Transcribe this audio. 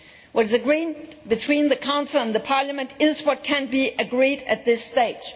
What is agreed between the Council and Parliament is what can be agreed at this stage.